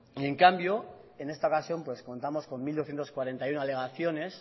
y en cambio en esta ocasión pues contamos con mil doscientos cuarenta y uno alegaciones